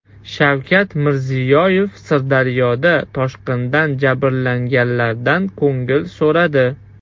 Shavkat Mirziyoyev Sirdaryoda toshqindan jabrlanganlardan ko‘ngil so‘radi.